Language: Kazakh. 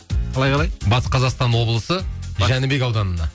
қалай қалай батыс қазақстан облысы жәнібек ауданына